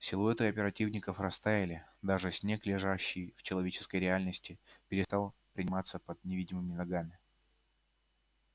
силуэты оперативников растаяли даже снег лежащий в человеческой реальности перестал приминаться под невидимыми ногами